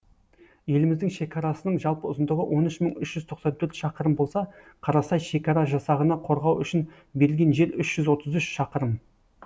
еліміздің шекарасының жалпы ұзындығы он үш мың үш жүз тоқсан төрт шақырым болса қарасай шекара жасағына қорғау үшін берілген жер үш жүз отыз үш шақырым